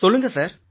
சொல்லுங்க சார்